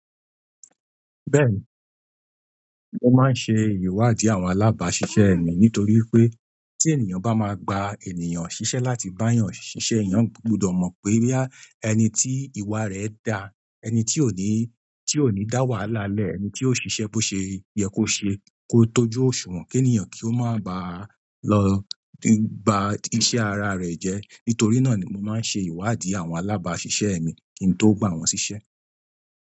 Bẹ́ẹ̀ni, mo máa ń ṣe ìwádìí àwọn alábàásisẹ́ mi nítorí pé tí ènìyàn bá máa gba ènìyàn ṣiṣẹ́ láti báa yàn ṣiṣẹ́, èèyàn gbọdọ̀ mọ̀ pé bí ẹni tí ìwà rẹ̀ dá, ẹni tí ò ní, tí ò ní dá wàhálà lẹ́ẹ̀, ẹni tí ó ṣiṣẹ́ bó ṣe yẹ kó ṣe, kó tojú òṣùwọ̀n kí ènìyàn kí ó má bá a lọ gba iṣẹ́ ara rẹ̀ jẹ́. Nítorí náà ni mo máa ń ṣe ìwádìí àwọn alábàásisẹ́ mi kí n tó gba wọn ṣiṣẹ́.